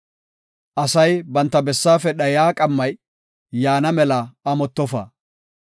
Asay banta bessaafe dhayiya qammay, yaana mela amottofa.